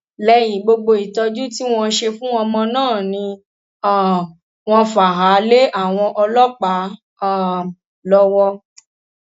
lẹyìn gbogbo ìtọjú tí wọn ṣe fún ọmọ náà ni um wọn fà á lé àwọn ọlọpàá um lọwọ